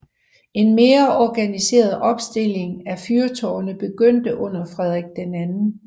En mere organiseret opstilling af fyrtårne begyndte under Frederik 2